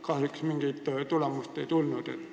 Kahjuks mingit tulemust ei tulnud.